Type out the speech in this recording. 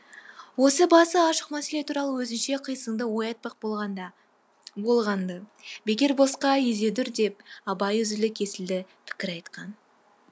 осы басы ашық мәселе туралы өзінше қисынды ой айтпақ болғанды бекер босқа езедүр деп абай үзілді кесілді пікір айтқан